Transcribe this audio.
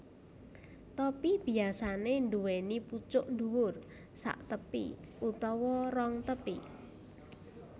Topi biyasanè nduwèni pucuk dhuwur saktepi utawa rong tepi